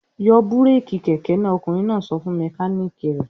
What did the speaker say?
"Yọ búrékì kẹ̀kẹ́ náà! Ọkùnrin náà sọ fún mẹkáníkì rẹ̀.